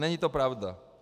Není to pravda.